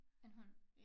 En hund